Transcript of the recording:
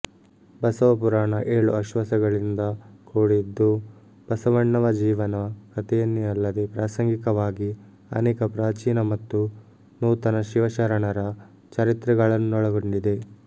ಬಸವಪುರಾಣ ಏಳು ಆಶ್ವಾಸಗಳಿಂದ ಕೂಡಿದ್ದು ಬಸವಣ್ಣವ ಜೀವನ ಕಥೆಯನ್ನೇ ಅಲ್ಲದೆ ಪ್ರಾಸಂಗಿಕವಾಗಿ ಅನೇಕ ಪ್ರಾಚೀನ ಮತ್ತು ನೂತನ ಶಿವಶರಣರ ಚರಿತ್ರೆಗಳನ್ನೊಳಗೊಂಡಿದೆ